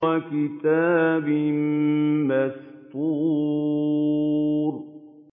وَكِتَابٍ مَّسْطُورٍ